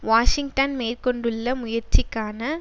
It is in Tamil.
வாஷிங்டன் மேற்கொண்டுள்ள முயற்சிக்கான